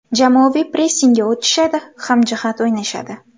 Jamoaviy pressingga o‘tishadi, hamjihat o‘ynashadi.